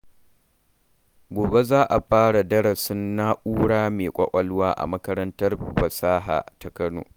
Gobe za a fara darasin na'ura mai ƙwaƙwalwa a makarantar Fasaha ta Kano.